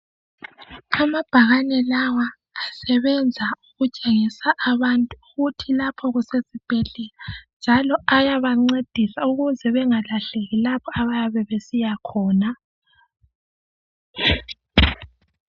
Amabhakani lawa asebenza ukutshengisa abantu ukuthi lapho kusesibhedlela njalo ayabancedisa ukuze bengalahleki lapho abayabe besiya khona.